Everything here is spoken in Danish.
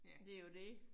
Det jo det